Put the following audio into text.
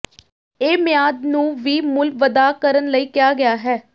ਇਹ ਮਿਆਦ ਨੂੰ ਵੀ ਮੁੱਲ ਵਧਾ ਕਰਨ ਲਈ ਕਿਹਾ ਗਿਆ ਹੈ